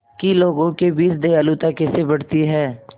कि लोगों के बीच दयालुता कैसे बढ़ती है